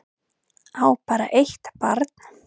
Á bara eitt barn